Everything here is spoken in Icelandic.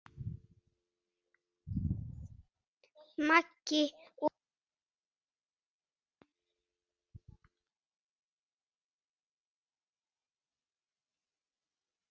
Maggi og Heiða.